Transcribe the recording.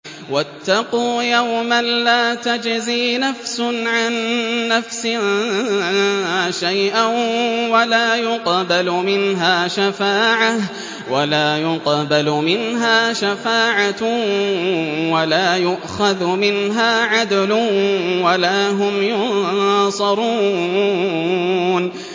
وَاتَّقُوا يَوْمًا لَّا تَجْزِي نَفْسٌ عَن نَّفْسٍ شَيْئًا وَلَا يُقْبَلُ مِنْهَا شَفَاعَةٌ وَلَا يُؤْخَذُ مِنْهَا عَدْلٌ وَلَا هُمْ يُنصَرُونَ